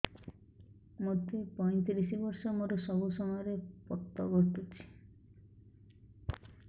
ମୋତେ ପଇଂତିରିଶ ବର୍ଷ ମୋର ସବୁ ସମୟରେ ପତ ଘଟୁଛି